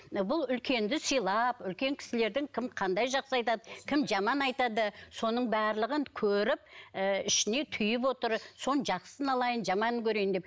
бұл үлкенді сыйлап үлкен кісілердің кім қандай жақсы айтады кім жаман айтады соның барлығын көріп ыыы ішіне түйіп отыр соның жақсысын алайын жаманын көрейін деп